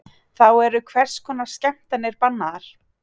Þá eru hvers konar skemmtanir bannaðar